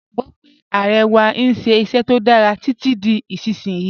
Mọ̀ gbogbo pe Aare wà n ṣẹ iṣẹ̀ tó dára titi di isisiyi.